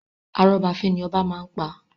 Arọ́ba fín ni obá máa ń pa.